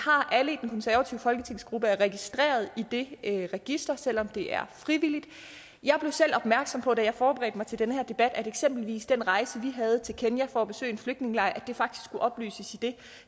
har folketingsgruppe er registreret i det register selv om det er frivilligt jeg blev selv opmærksom på da jeg forberedte mig til den her debat at eksempelvis den rejse vi havde til kenya for at besøge en flygtningelejr faktisk skulle oplyses